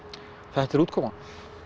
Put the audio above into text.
þetta er útkoman